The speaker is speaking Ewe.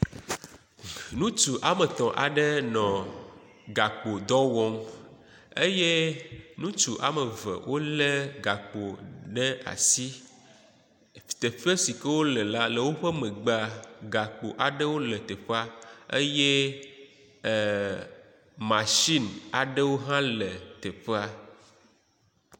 Ŋutsu woametɔ aɖe nɔ gakpo dɔ wɔm eye ŋutsu woamev wolé gakpo ɖe asi. Teƒe si ke wole la le woƒe megbea, gakpo aɖewo le…… eye masini aɖewo hã le teƒea.